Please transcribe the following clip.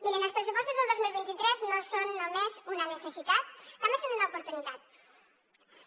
miren els pressupostos del dos mil vint tres no són només una necessitat també són una oportunitat